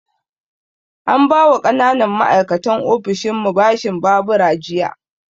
An ba wa ƙananan ma'aikatan ofishinmu bashin babura jiya